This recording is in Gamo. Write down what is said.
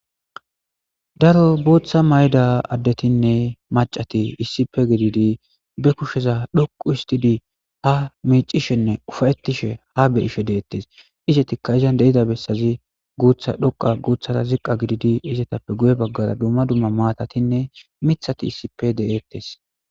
daro booththa mayda addetinne macati issipe gididi be kusheza dhoqu istidi ha miicishenne ufayettishe ha beyishe deettes izetika izan deida bessazi guutha dhoqa guuthara ziqqa gididi izetappe guye baggara dumma dumma maatatinne mithati issipe de7ettes